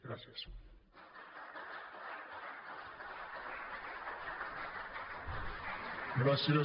gràcies